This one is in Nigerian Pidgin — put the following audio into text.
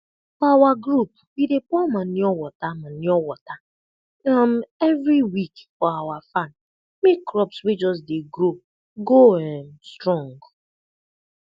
for awa group we dey pour manure wata manure wata um every week for awa farm make crops wey just dey grow go um strong